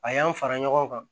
A y'an fara ɲɔgɔn kan